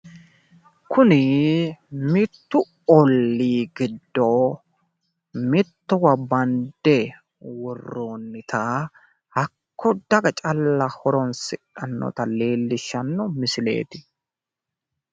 Kuni mittu ollii giddo mittowa bande worroonnita hakko daga calla horonsidhannota leellishshanno misileeti